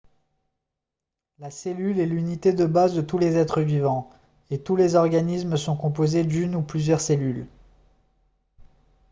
la cellule est l'unité de base de tous les êtres vivants et tous les organismes sont composés d'une ou plusieurs cellules